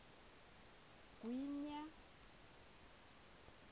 gwinya